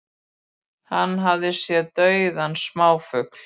Hann hafi séð dauða smáfugla